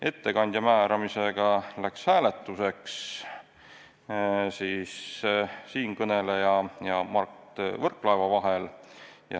Ettekandja määramisel läks hääletuseks, valida tuli siinkõneleja ja Mart Võrklaeva vahel.